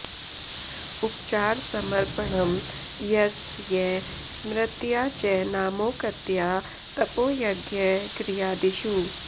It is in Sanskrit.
उपचारसमर्पणम् यस् य स्मृत्या च नामोक्त्या तपो यज्ञ किर्यादिषु